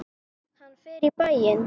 Hann fer í bæinn!